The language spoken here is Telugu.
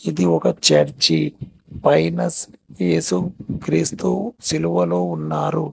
ఇది ఒక చర్చి పైన ఏసుక్రీస్తు సిలువలో ఉన్నారు.